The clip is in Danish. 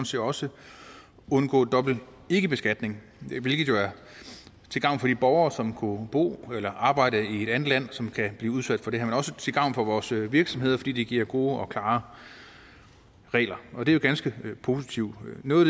set også undgå dobbelt ikkebeskatning hvilket jo er til gavn for de borgere som bor eller arbejder i et andet land og som kan blive udsat for det her men også til gavn for vores virksomheder fordi det giver gode og klare regler og det er jo ganske positivt noget